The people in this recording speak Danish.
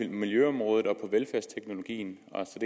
miljøområdet på velfærdsteknologien og